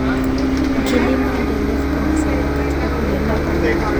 Kilimo endelevu kinasaidia katika kulinda bioanuwai.